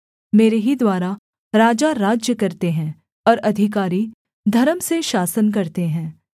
मेरे ही द्वारा राजा राज्य करते हैं और अधिकारी धर्म से शासन करते हैं